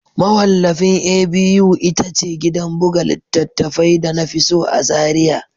Mawallafin A.B.U ita ce gidan buga littattafai da na fi so a Zariya